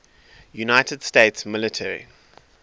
united states military